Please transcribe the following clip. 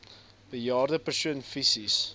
bejaarde persoon fisies